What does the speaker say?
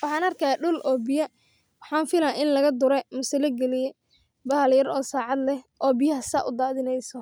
Waxan arkaya dul oo biya waxaan fila in lagadure mise lagaliye bahal yar oo sacad leh oo biyaha saa udaadhineyso.